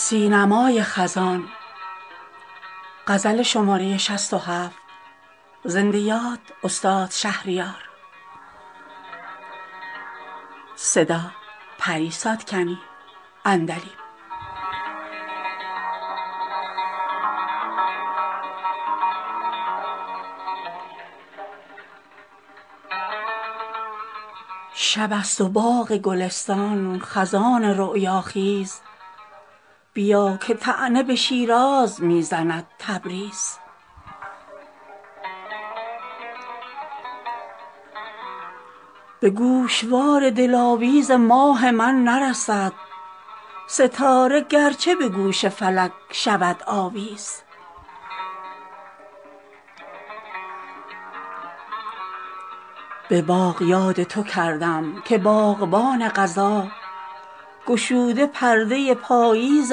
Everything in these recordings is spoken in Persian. شب است و باغ گلستان خزان رؤیاخیز بیا که طعنه به شیراز می زند تبریز بیا که حلقه به گوشان آسمان ریزند سری به پای تو در حلقه غلام و کنیز به گوشوار دلاویز ماه من نرسد ستاره گرچه به گوش فلک شود آویز به باغ یاد تو کردم که باغبان قضا گشوده پرده پاییز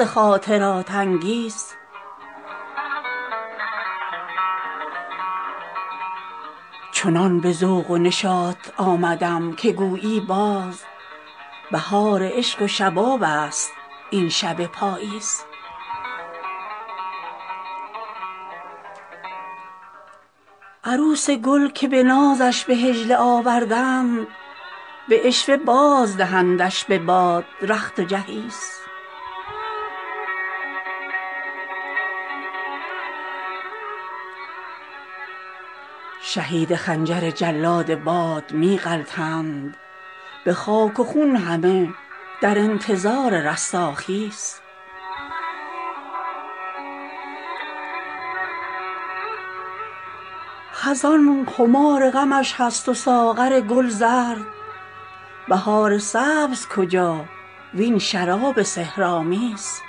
خاطرات انگیز چنان به ذوق و نشاط آمدم که گویی باز بهار عشق و شباب است این شب پاییز عروس گل که به نازش به حجله آوردند به عشوه بازدهندش به باد رخت و جهیز شهید خنجر جلاد باد می غلتند به خاک و خون همه در انتظار رستاخیز خزان خمار غمش هست و ساغر گل زرد بهار سبز کجا وین شراب سحرآمیز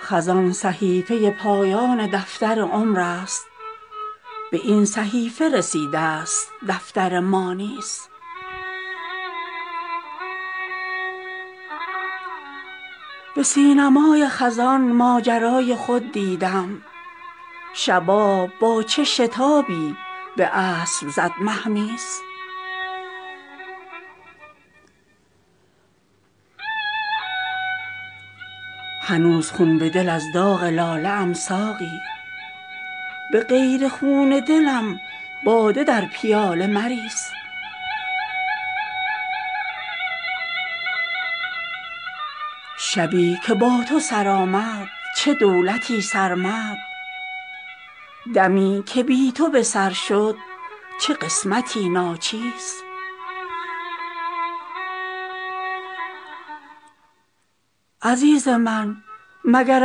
خزان صحیفه پایان دفتر عمر است به این صحیفه رسیده است دفتر ما نیز تنی تکیده ام و چشم رفته در ته چاه که چرخ چاهکنم چشمه می کند کاریز به سینمای خزان ماجرای خود دیدم شباب با چه شتابی به اسب زد مهمیز حراج عمر چه سوداگری ست شعبده باز که گنج و حشمت قارون نمی خرد به پشیز هنوز خون به دل از داغ لاله ام ساقی به غیر خون دلم باده در پیاله مریز شبی که با تو سر آمد چه دولتی سرمد دمی که بی تو به سر شد چه قسمتی ناچیز عزیز من مگر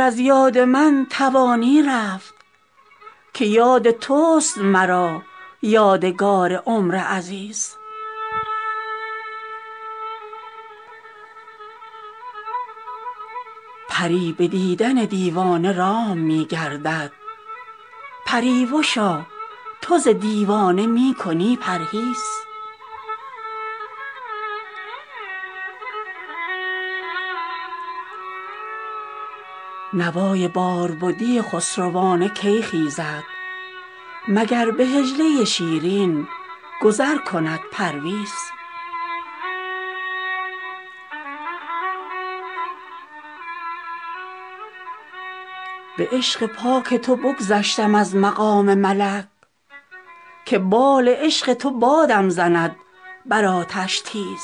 از یاد من توانی رفت که یاد تست مرا یادگار عمر عزیز پری به دیدن دیوانه رام می گردد پریوشا تو ز دیوانه می کنی پرهیز به بانگ چنگ من از دل زدای زنگ فراق که بشکفد دل شیرین به شیهه شبدیز نوای باربدی خسروانه کی خیزد مگر به حجله شیرین گذر کند پرویز به عشق پاک تو بگذشتم از مقام ملک که بال عشق تو بادم زند بر آتش تیز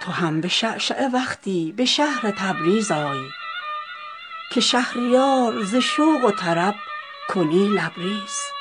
تو هم به شعشعه وقتی به شهر تبریز آی که شهریار ز شوق و طرب کنی لبریز